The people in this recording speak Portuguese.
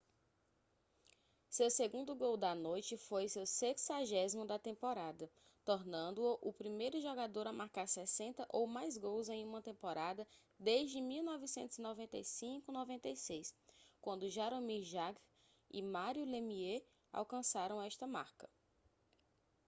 seu segundo gol da noite foi seu 60º da temporada tornando-o o primeiro jogador a marcar 60 ou mais gols em uma temporada desde 1995/96 quando jaromir jagr e mario lemieux alcançaram esta marca